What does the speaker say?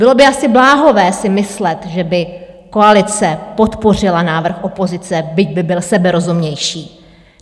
Bylo by asi bláhové si myslet, že by koalice podpořila návrh opozice, byť by byl seberozumnější.